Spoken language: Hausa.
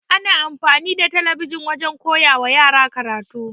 Ana amfani da talabijin wajen koyawa yara karatu.